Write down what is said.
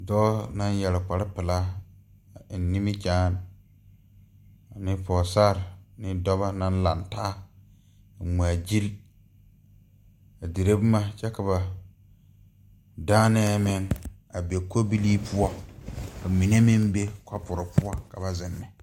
Dɔɔ naŋ yɛre kparepelaa a eŋ nimikyaane ane pɔɔsare ne dɔbɔ naŋ laŋ taa a ngmaagyile a dire boma kyɛ ka ba dããnɛɛ meŋ a be kobilii poɔ ka mine meŋ be kɔpurre poɔ ka ba zeŋ ne.